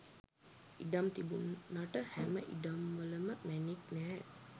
ඉඩම් තිබුනට හැම ඉඩම්වලම මැණික් නැහැ.